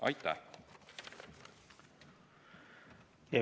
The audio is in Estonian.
Aitäh!